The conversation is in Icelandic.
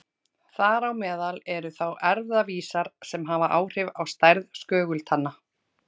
Þar á meðal eru þá erfðavísar sem hafa áhrif á stærð skögultanna.